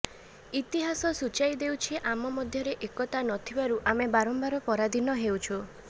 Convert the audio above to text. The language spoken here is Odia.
ଇତିହାସ ସୂଚାଇ ଦେଉଛି ଆମ ମଧ୍ୟରେ ଏକତା ନଥିବାରୁ ଆମେ ବାରମ୍ବାର ପରାଧୀନ ହେଇଛୁ